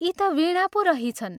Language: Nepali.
यी ता वीणा पो रहिछन्।